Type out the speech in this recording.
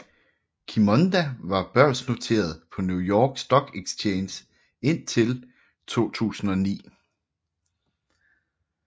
Qimonda var børsnoteret på New York Stock Exchange indtil 2009